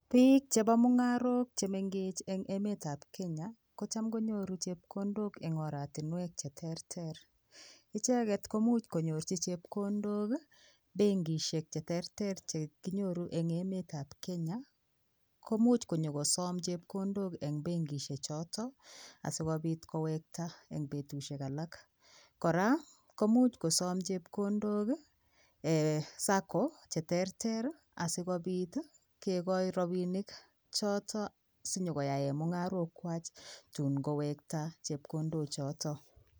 Biik chebo mungarok che mengech eng emetab Kenya, kocham konyoru chepkondok eng oratiniek che terter. Icheget komuch konyorchi chepkondok benkisiek cheterter che kinyoru eng emetab Kenya komuch konyokosom chepkondok eng benkisiek choto asikopit kowekta eng betusiek alak. Kora komuch kosom chepkondok ee Sacco cheterter asigopit kegoi rapinik choto sinyokoyaen mungarok kwach tun kowekta chepkondochoto.